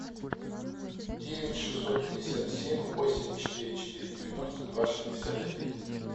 девять шестьсот пятьдесят семь восемь четыре четыре девяносто два шестьдесят один